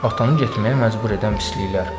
Atanı getməyə məcbur edən pisliklər.